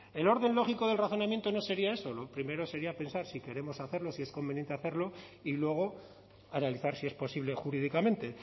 el orden lógico del razonamiento no sería eso primero sería pensar si queremos hacerlo si es conveniente hacerlo y luego analizar si es posible jurídicamente